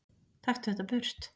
Taktu þetta burt!